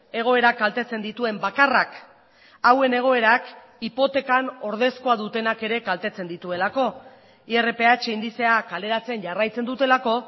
egoera kaltetzen dituen bakarrak hauen egoerak hipotekan ordezkoa dutenak ere kaltetzen dituelako irph indizea kaleratzen jarraitzen dutelako